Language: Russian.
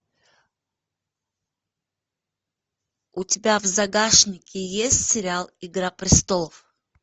у тебя в загашнике есть сериал игра престолов